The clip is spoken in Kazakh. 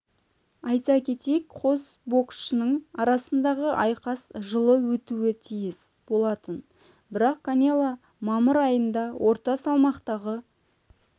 айта кетейік қос боксшының арасындағы айқас жылы өтуі тиіс болатын бірақ канело мамыр айында орта салмақтағы